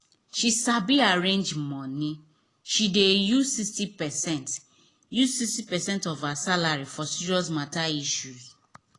she sabi arrange money she dey use sixty percent use sixty percent of her salary for serious matter issue